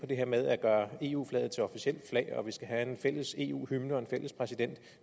det her med at gøre eu flaget til officielt flag og at vi skal have en fælles eu hymne og en fælles præsident